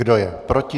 Kdo je proti?